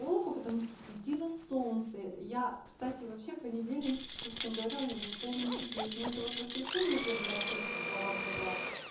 плохо потому что светило солнце я кстати вообще понедельник честно говоря у меня был полный чудес но это вот воскресенье первый раз жертва проработала